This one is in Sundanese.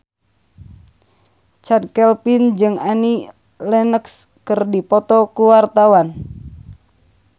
Chand Kelvin jeung Annie Lenox keur dipoto ku wartawan